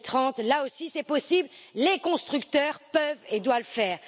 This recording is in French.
2030. Là aussi, c'est possible, les constructeurs peuvent et doivent le faire.